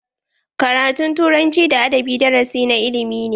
Karatun turanci da adabi darasi na ilimi ne.